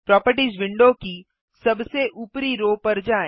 properties window की सबसे ऊपरी रो पर जाएँ